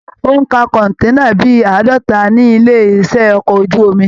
Ó ń ka kọ̀nténà bíi àádọta ní ilé iṣẹ okọ̀ ojú omi.